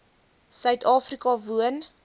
suid afrika woon